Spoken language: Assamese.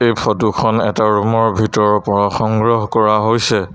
এই ফটো খন এটা ৰুম ৰ ভিতৰৰ পৰা সংগ্ৰহ কৰা হৈছে।